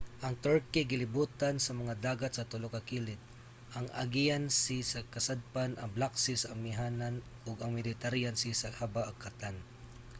ang turkey gilibutan sa mga dagat sa tulo ka kilid: ang aegean sea sa kasadpan ang black sea sa amihanan ug ang mediterranean sea sa habagatan